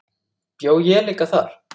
Bjó ég þar líka?